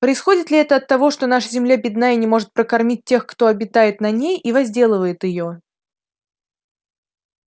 происходит ли это от того что наша земля бедна и не может прокормить тех кто обитает на ней и возделывает её